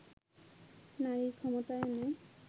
নারীর ক্ষমতায়নে